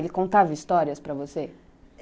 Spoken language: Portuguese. Ele contava histórias para você?